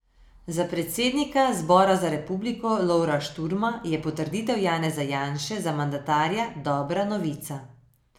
Za predsednika Zbora za republiko Lovra Šturma je potrditev Janeza Janše za mandatarja dobra novica.